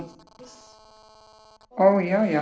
Og já já.